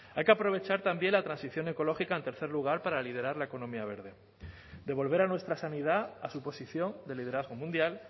hay que aprovechar también la transición ecológica en tercer lugar para liderar la economía verde devolver a nuestra sanidad a su posición de liderazgo mundial